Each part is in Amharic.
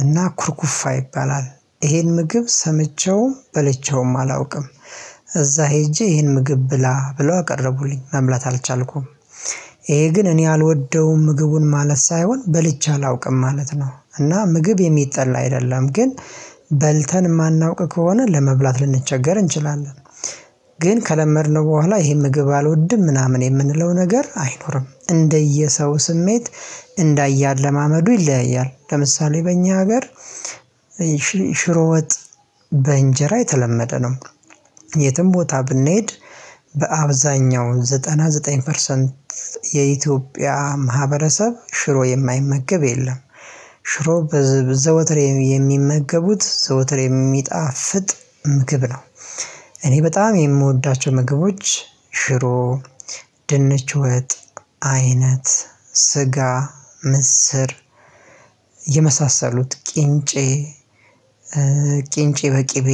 እና ኩርኩፋ ይባላል። ይሄን ምግብ ሰምቼውም በልቼውም አላውቅም። እዛ ሄጄ ይሄን ምግብ ብላ ብለው አቀረቡልኝ መብላት አልቻልኩም። ይሄ ግን እኔ አልወደውም ምግቡን ማለት ሳይሆን በልቼ አላውቅም ማለት ነው። እና ምግብ የሚጠላ አይደለም ግን በልተን የማናውቅ ከሆነ ለመብላት ልንቸገር እንችላለን። ግን ከለመድነው በኋላ ይሄን ምግብ አልወድም ምናምን የምንለው ነገር አይኖርም እንደየሰው ስሜት። እንዳያለማመዱ ይለያያል ለምሳሌ በእኛ ሀገር ሽሮ ወጥ በእንጀራ የተለመደ ነው። የትም ቦታ ብንሄድ በአብዛኛው ዘጠናዘጠኝ ፐርሰንት የኢትዮጵያ ማህበረሰብ ሽሮ የማይመገብ የለም። ሽሮ ዘወትር የሚመገቡት ዘወትር የሚጣፍጥ ምግብ ነው። እኔ በጣም የምወዳቸው ምግቦች ሽሮ ድንች ወጥ አይነት ስጋ ምስር የመሳሰሉት ቅንጬ ቅንጬ በቅቤ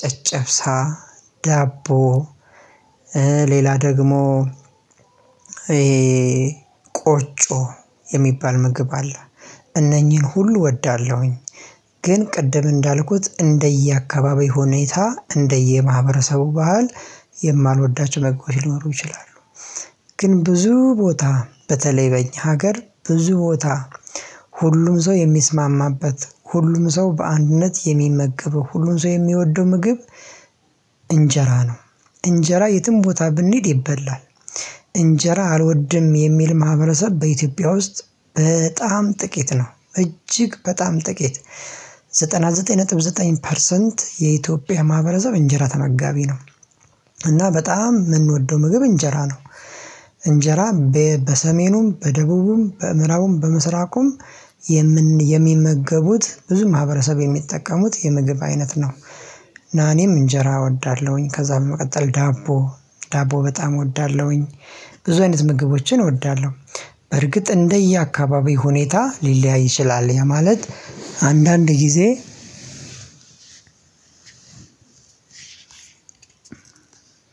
ጨጨብሳ ዳቦ ሌላ ደግሞ ቆጮ የሚባል ምግብ አለ። እነኚህን ሁሉ እወዳለሁኝ። ግን ቅድም እንዳልኩት እንደየአካባቢው ሁኔታ እንደየማህበረሰቡ ባህል የማልወዳቸው መግቦች ሊኖሩ ይችላሉ። ግን ብዙ ቦታ በተለይ በኛ ሀገር ብዙ ቦታ ሁሉም ሰው የሚስማማበት ሁሉም ሰው በአንድነት የሚመገበው ሁሉም ሰው የሚወደው ምግብ እንጀራ ነው እንጀራ የትም ቦታ ብንሄድ ይበላል። እንጀራ አልወድም የሚል ማህበረሰብ በኢትዮጵያ ውስጥ በጣም ጥቂት ነው እጅግ በጣም ጥቂት። ዘጠናዘጠኝ ነጥብ ዘጠኝ ፐርሰንት የኢትዮጵያ ማህበረሰብ እንጀራ ተመጋቢ ነው። እና በጣም የምንወደው ምግብ እንጀራ ነው። እንጀራ በሰሜኑም በደቡቡም በእምራቡም በምስራቁም የሚመገቡት ብዙ ማህበረሰብ የሚጠቀሙት የምግብ አይነት ነው። እኔም እንጀራ እወዳለሁኝ ከዛ በመቀጠል ዳቦ ዳቦ በጣም እወዳለሁኝ። ብዙ አይነት ምግቦችን እወዳለሁ። በርግጥ እንደየአካባቢው ሁኔታ ሊለያይ ይችላል ያ ማለት አንዳንድ ጊዜ።